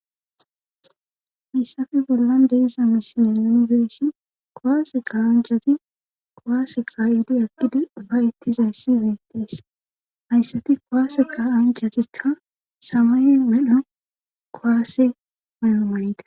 missafi bollan deiza misile lunibeeshi kowaase qawanjhati kowaase kaa7idi aggidi ubay ettizayssi beettees hayssati kowaase ka7anjatikka samay medho kowaase may7o manite